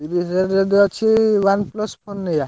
ତିରିଶ୍ ହାଜ଼ାର୍ ଯଦି ଅଛି OnePlus phone ନେଇଆ।